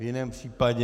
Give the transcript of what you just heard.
V jiném případě...